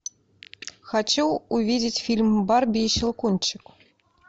хочу увидеть фильм барби и щелкунчик